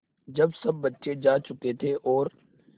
जब सब बच्चे जा चुके थे और